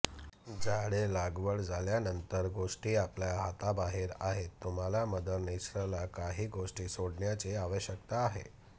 झाडे लागवड झाल्यानंतर गोष्टी आपल्या हाताबाहेर आहेत तुम्हाला मदर नेचरला काही गोष्टी सोडण्याची आवश्यकता आहे